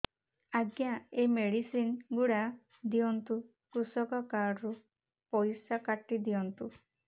ଆଜ୍ଞା ଏ ମେଡିସିନ ଗୁଡା ଦିଅନ୍ତୁ କୃଷକ କାର୍ଡ ରୁ ପଇସା କାଟିଦିଅନ୍ତୁ